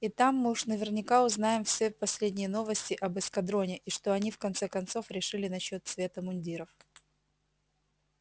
и там мы уж наверняка узнаем все последние новости об эскадроне и что они в конце концов решили насчёт цвета мундиров